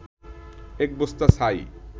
এক বস্তা ছাই